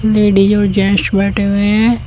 Ladies और gents बैठे हुए हैं।